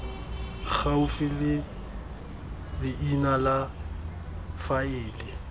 gaufi le leina la faele